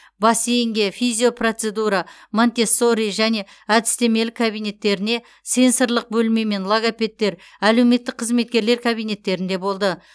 бассейнге физиопроцедура монтессори және әдістемелік кабинеттеріне сенсорлық бөлме мен логопедтер әлеуметтік қызметкерлер кабинеттерінде болды